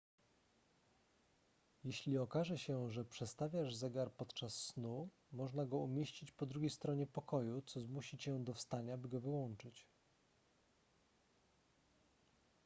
jeśli okaże się że przestawiasz zegar podczas snu można go umieścić po drugiej stronie pokoju co zmusi cię do wstania by go wyłączyć